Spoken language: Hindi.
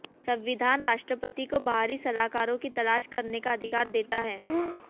संविधान राष्ट्रपति को बाहरी सलाहकारों की तलाश करने का अधिकार देता है